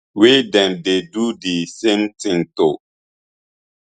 wey dem dey do di same tin to